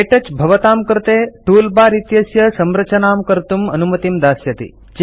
के touch भवतां कृते toolbar इत्यस्य संरचनां कर्तुं अनुमतिं दास्यति